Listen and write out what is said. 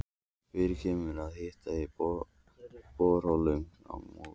Fyrir kemur og að hiti í borholum á